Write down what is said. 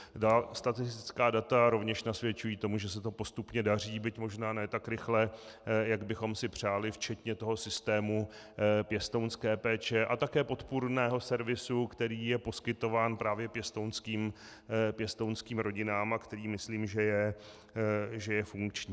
Statistická data rovněž nasvědčují tomu, že se to postupně daří, byť možná ne tak rychle, jak bychom si přáli, včetně toho systému pěstounské péče a také podpůrného servisu, který je poskytován právě pěstounským rodinám a který myslím, že je funkční.